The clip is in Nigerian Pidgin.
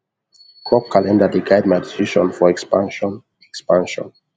crop calender dey guide my decision for expansion expansion